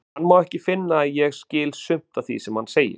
Hann má ekki finna að ég skil sumt af því sem hann segir.